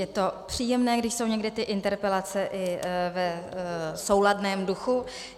Je to příjemné, když jsou někdy ty interpelace i v souladném duchu.